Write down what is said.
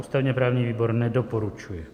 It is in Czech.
Ústavně-právní výbor nedoporučuje.